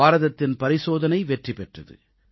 பாரதத்தின் பரிசோதனை வெற்றி பெற்றது